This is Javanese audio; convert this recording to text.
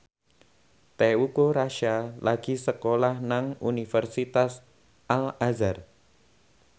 Teuku Rassya lagi sekolah nang Universitas Al Azhar